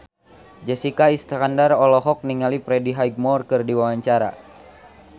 Jessica Iskandar olohok ningali Freddie Highmore keur diwawancara